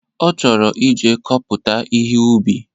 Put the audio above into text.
Ọ chọrọ ije kọpụta ihe ubi